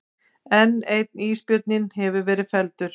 Enn einn ísbjörninn hefur verið felldur